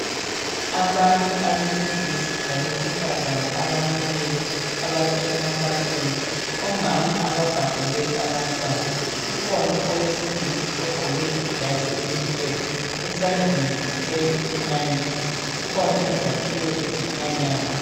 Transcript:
Abantu abesilisa labesifazane abamileyo abasemkhankasweni omama ababhabhule abantwana kukhona owesilisa ogqoke ijazi elimhlophe esandleni uthwele imayikhi kukhona izakhiwo ezikhanyayo